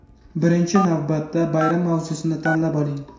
Birinchi navbatda bayram mavzusini tanlab oling.